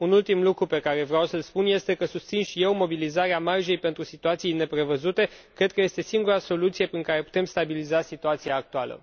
Un ultim lucru pe care vreau să l spun este că susțin și eu mobilizarea marjei pentru situații neprevăzute. Cred că este singura soluție prin care putem stabiliza situația actuală.